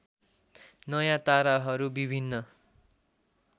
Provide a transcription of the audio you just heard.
नयाँ ताराहरू विभिन्न